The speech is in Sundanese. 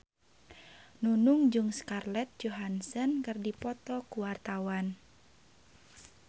Nunung jeung Scarlett Johansson keur dipoto ku wartawan